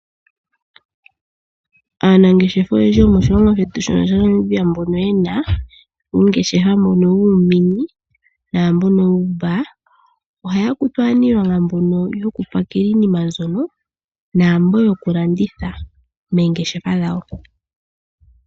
Aanangeshefa oyendji yomoshilongo shetu shaNamibia mbono ye na uungeshefa uushona naamboka wuumbaa, ohaya kutu aaniilonga mbono yokupakela iinima naamboka yokulanditha moongeshefa dhawo.